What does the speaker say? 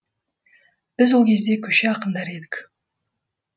біз ол кезде көше ақындары едік